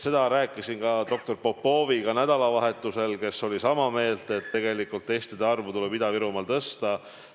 Seda ma rääkisin ka doktor Popoviga nädalavahetusel, kes oli sama meelt, et testide arvu tuleb Ida-Virumaal tõsta.